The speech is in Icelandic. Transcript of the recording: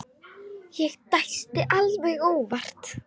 Ég dæsti alveg óvart.